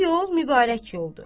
Bu yol mübarək yoldur.